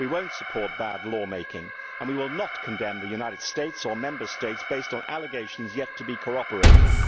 We will not support bad lawmaking and we will not condemn the United States or Member States on the basis of allegations yet to be corroborated.